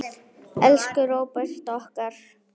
Elsku Róbert okkar.